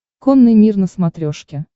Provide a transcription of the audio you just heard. конный мир на смотрешке